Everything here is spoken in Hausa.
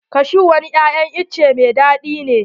Kashu wani ya'yan itace mai daɗi ne.